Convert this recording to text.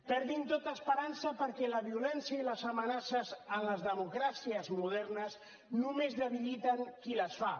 perdin tota esperança perquè la violència i les amenaces en les democràcies modernes només debiliten qui les fa